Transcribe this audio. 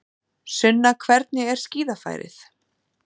Sunna hvernig er skíðafærið?